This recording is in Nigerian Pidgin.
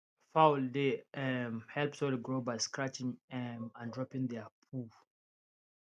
fowl dey um help soil grow by scratching um and dropping their poo